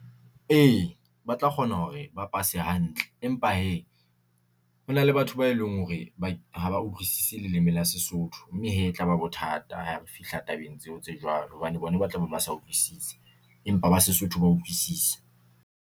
E, ba tla kgona hore ba pase hantle empa hee, hona le batho ba e leng hore ha ba utlwisise leleme la Sesotho, mme hee e tlaba bothata ha re fihla tabeng tseo tse jwalo hobane bona ba tla be ba sa utlwisise, empa ba Sesotho ba utlwisisa.